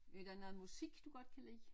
Er der noget musik du godt kan lide?